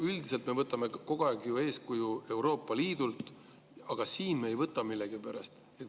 Üldiselt me võtame kogu aeg ju eeskuju Euroopa Liidult, aga siin me ei võta millegipärast.